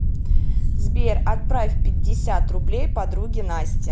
сбер отправь пятьдесят рублей подруге насте